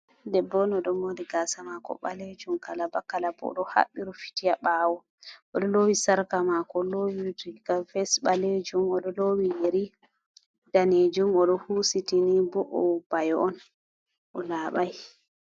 Debbo on ɗo moori gaasa maako baleejum kalaba kalaba.O ɗo haɓɓi rufiti a ɓaawo ,o ɗo loowi sarka maako, o ɗo loowi gawfes ɓaleejum.O ɗo loowi yeri daneejum, o ɗo huusitini, bo o bayo on, o laabay.